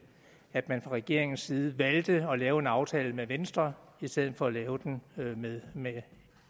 at man fra regeringens side valgte at lave en aftale med venstre i stedet for at lave den med med